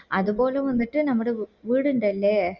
അത് പോലെ വന്നിട്ട് നമ്മടെ വീട് ഇണ്ടല്ലേ